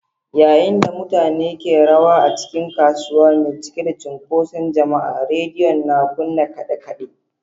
Yayin da mutane ke rawa a cikin kasuwa mai cike da cunkoson jama’a, rediyon na kunna kade-kade.